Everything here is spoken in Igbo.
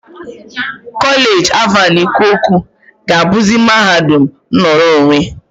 Kolej Alvan Ikoku ga-abuzi mahadum nnọrọ onwe.